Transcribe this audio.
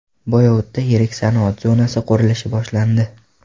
Boyovutda yirik sanoat zonasi qurilishi boshlandi.